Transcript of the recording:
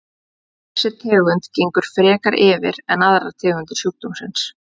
Þessi tegund gengur frekar yfir en aðrar tegundir sjúkdómsins.